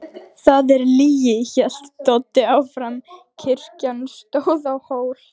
Það er lygi, hélt Doddi áfram, kirkjan stóð á hól.